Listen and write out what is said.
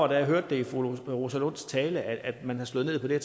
da jeg hørte det i fru rosa lunds tale at man havde slået ned på det